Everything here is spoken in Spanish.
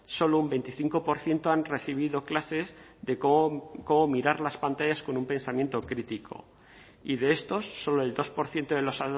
solo un veinticinco por ciento han recibido clases de cómo mirar las pantallas con un pensamiento crítico y de estos solo el dos por ciento de los